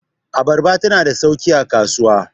abarba tana da sauki a kasuwa